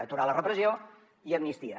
aturar la repressió i amnistia